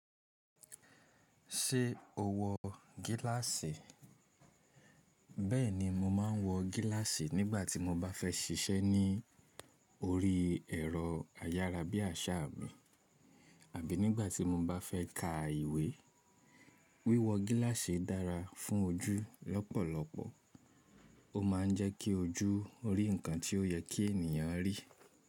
Ṣé o wọ gíláàsì? Bẹ́ẹ̀ni, mo maa ń wọ gíláàsì nígbà tí mo bá fẹ́ ṣiṣẹ́ ní orí ẹ̀rọ ayára bí àṣá mi àbí nígbà tí mo bá fẹ́ ka ìwé. Wíwọ gíláàsì dára fún ojú lọ́pọ̀lọpọ̀. Ó maa ń jẹ́ kí ojú rí nǹkan tí ó yẹ kí ènìyàn rí.